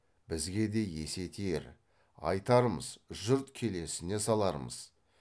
бізге де есе тиер айтармыз жұрт келесіне салармыз